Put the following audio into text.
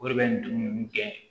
O de bɛ nin gɛn